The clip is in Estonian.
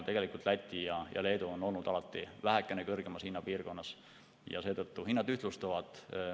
Tegelikult on Läti ja Leedu olnud alati vähekene kõrgemas hinnapiirkonnas ja hinnad ühtlustuvad.